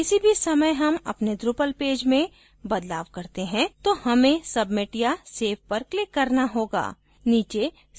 अतः किसी भी समय हम अपने drupal पैज में बदलाव करते हैं तो हमें submit या save पर click करना होगा